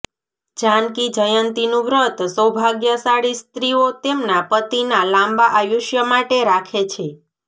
જાનકી જયંતીનું વ્રત સૌભાગ્યશાળી સ્ત્રીઓ તેમના પતિના લાંબા આયુષ્ય માટે રાખે છે